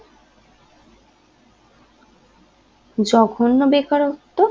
জঘন্য বেকারত্ব